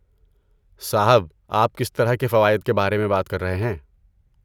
صاحب، آپ کس طرح کے فوائد کے بارے میں بات کر رہے ہیں؟